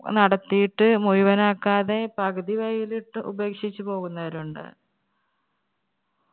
നടത്തിയിട്ട് മുഴുവനാക്കാതെ പകുതി വഴിയിലിട്ട് ഉപേക്ഷിച്ചു പോകുന്നവരുണ്ട്.